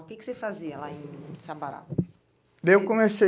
O que que você fazia lá em Sabará? Daí eu